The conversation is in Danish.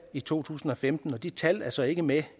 i to tusind og femten de tal er så ikke med